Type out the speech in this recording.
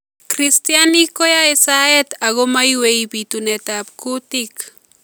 Kristianik koyai saet Ako maiywei biituneetaab kuutik